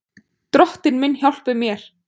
Drottinn minn hjálpi mér!